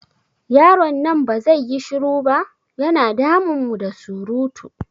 Yaron nan ba zai yi shiru ba? Ya na damun mu da surutu.